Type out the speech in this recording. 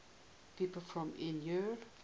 people from eure